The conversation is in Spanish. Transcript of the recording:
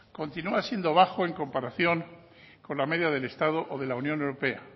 continúa siendo bajo en comparación con la media del estado o de la unión europea